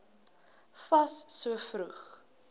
fas so vroeg